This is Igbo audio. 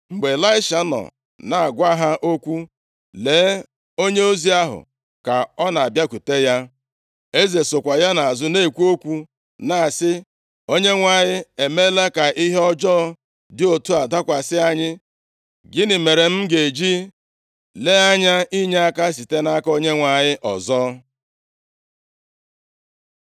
Mgbe Ịlaisha nọ na-agwa ha okwu, lee onyeozi ahụ ka ọ na-abịakwute ya. Eze sokwa ya nʼazụ na-ekwu okwu na-asị, “ Onyenwe anyị emeela ka ihe ọjọọ dị otu a dakwasị anyị. Gịnị mere m ga-eji lee anya inyeaka site nʼaka Onyenwe anyị ọzọ?”